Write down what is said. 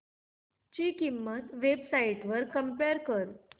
ची किंमत websites वर कम्पेअर कर